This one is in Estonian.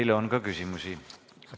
Teile on ka küsimusi.